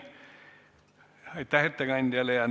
Aitäh ettekandjale!